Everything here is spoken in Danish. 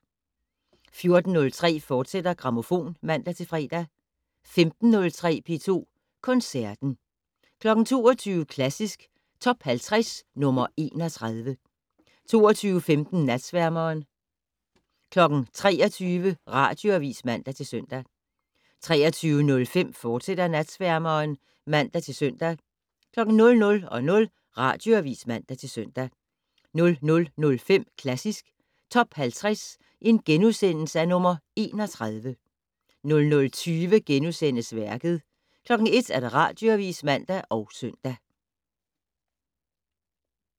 14:03: Grammofon, fortsat (man-fre) 15:03: P2 Koncerten 22:00: Klassisk Top 50 - nr. 31 22:15: Natsværmeren 23:00: Radioavis (man-søn) 23:05: Natsværmeren, fortsat (man-søn) 00:00: Radioavis (man-søn) 00:05: Klassisk Top 50 - nr. 31 * 00:20: Værket * 01:00: Radioavis (man og søn)